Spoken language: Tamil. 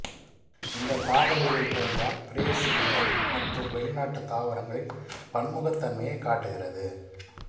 இந்த தாவரவியல் பூங்கா பிரேசிலிய மற்றும் வெளிநாட்டு தாவரங்களின் பன்முகத்தன்மையை காட்டுகிறது